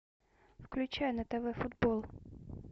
включай на тв футбол